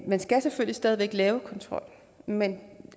man skal selvfølgelig stadig væk lave kontrol men